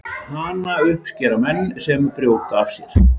Hana uppskera menn sem brjóta af sér.